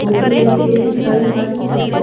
photo लेते हुए दिखाई मालुम पड़ रहे --